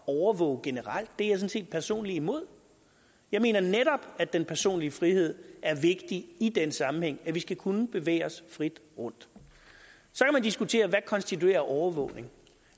og overvåge generelt det er jeg sådan set personligt imod jeg mener netop at den personlige frihed er vigtig i den sammenhæng at vi skal kunne bevæge os frit rundt så kan man diskutere hvad der konstituerer overvågning